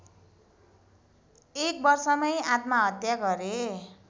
एक वर्षमै आत्महत्या गरे